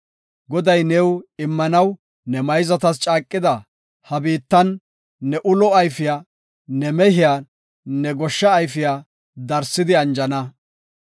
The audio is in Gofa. Goday new immanaw ne mayzatas caaqida he biittan, ne ulo ayfiya, ne mehiya, ne goshsha ayfiya darsidi anjana.